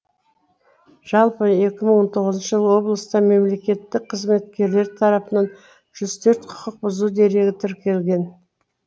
жалпы екі мың он тоғызыншы жылы облыста мемлекеттік қызметкерлер тарапынан жүз төрт құқық бұзу дерегі тіркелген